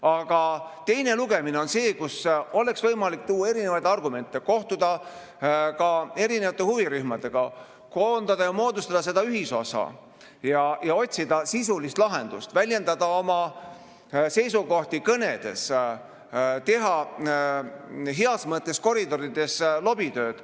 Aga teine lugemine on see, kus oleks võimalik tuua erinevaid argumente, kohtuda erinevate huvirühmadega, koondada ja moodustada ühisosa ja otsida sisulist lahendust, väljendada oma seisukohti kõnedes, teha heas mõttes koridorides lobitööd.